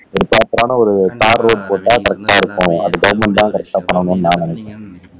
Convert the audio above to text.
ஒருப்ராப்பரான ஒரு தார் ரோடு போட்டா கரெக்ட்டா இருக்கும் அதை கவர்ன்மெண்ட் தான் கரெக்ட்டா பண்ணணுன்னு நான் நினைக்குறேன்